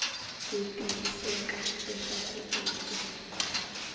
ku tiyiseka leswaku u dya